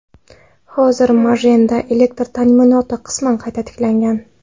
Hozir Majenda elektr ta’minoti qisman qayta tiklangan.